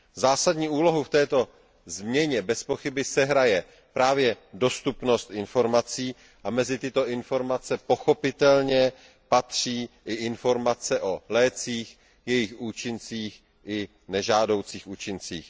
Zásadní úlohu v této změně bezpochyby sehraje právě dostupnost informací a mezi tyto informace pochopitelně patří i informace o lécích, jejich účincích i nežádoucích účincích.